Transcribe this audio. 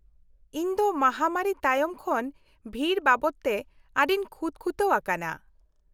-ᱤᱧ ᱫᱚ ᱢᱟᱦᱟᱢᱟᱹᱨᱤ ᱛᱟᱭᱚᱢ ᱠᱷᱚᱱ ᱵᱷᱤᱲ ᱵᱟᱵᱚᱫ ᱛᱮ ᱟᱹᱰᱤᱧ ᱠᱷᱩᱛ ᱠᱷᱩᱛᱟᱹᱣ ᱟᱠᱟᱱᱟ ᱾